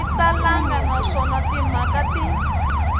yi talangi naswona timhaka ti